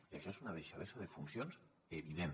i això és una deixadesa de funcions evident